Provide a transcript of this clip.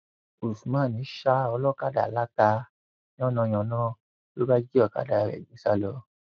usman ṣa olókàdá látàá yánnayànna ló bá jí ọkadà rẹ gbé sá lọ